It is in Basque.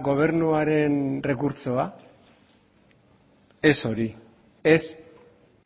gobernuaren errekurtsoa ez hori ez